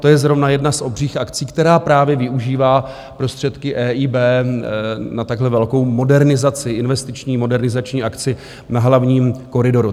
To je zrovna jedna z obřích akcí, která právě využívá prostředky EIB na takhle velkou modernizaci, investiční modernizační akci na hlavním koridoru.